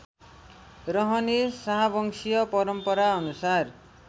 रहने शाहवंशीय परम्पराअनुसार